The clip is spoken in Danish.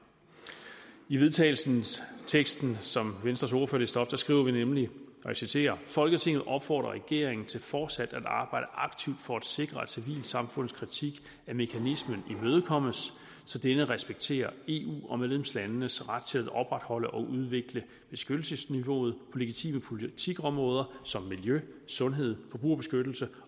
i vedtagelsesteksten som venstres ordfører læste op skriver vi nemlig og jeg citerer folketinget opfordrer regeringen til fortsat at arbejde aktivt for at sikre at civilsamfundets kritik af mekanismen imødekommes så denne respekterer eu og medlemslandenes ret til at opretholde og udvikle beskyttelsesniveauet på legitime politikområder som miljø sundhed forbrugerbeskyttelse